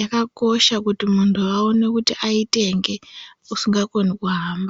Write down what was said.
Yakakosha pakuti muntu aone kuti aitenge usingakoni kuhamba.